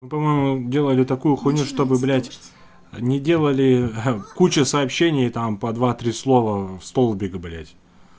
мы по-моему делали такую хуйню чтобы блять не делали кучу сообщений там по два-три слова в столбик блять